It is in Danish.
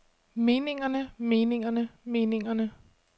meningerne meningerne meningerne